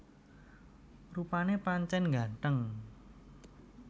Rupané pancèn nggantheng